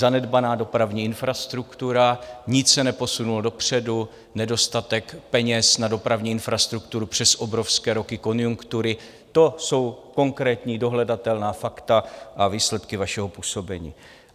Zanedbaná dopravní infrastruktura, nic se neposunulo dopředu, nedostatek peněz na dopravní infrastrukturu přes obrovské roky konjunktury - to jsou konkrétní dohledatelná fakta a výsledky vašeho působení.